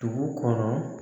Dugu kɔnɔ